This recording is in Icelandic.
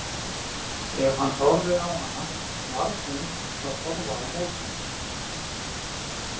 Ef hann horfði á hana varð hún að horfa á móti.